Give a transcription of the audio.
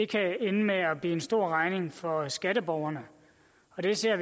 kan ende med at blive en stor regning for skatteborgerne og det ser